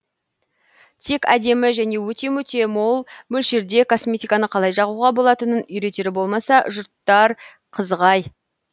тек әдемі және өте мөте мол мөлшерде косметиканы қалай жағуға болатынын үйретері болмаса жұрттар қызық әй